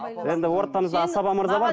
енді ортамызда асаба мырза бар